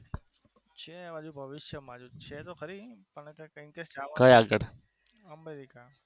છે હાલ તો બહુ જ છે આ બાજુ તો ફરી લીધું આપડે